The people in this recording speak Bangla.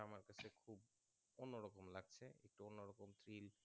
কম feel